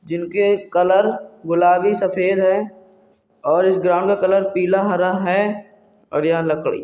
जिनके कलर गुलाबी सफ़ेद है और इस ग्राउंड का कलर पिला हरा है और यहाँ लक--